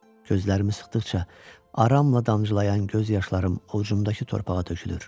Gözlərimi sıxdıqca aramla damcılayan göz yaşlarım ovcumdakı torpağa tökülür.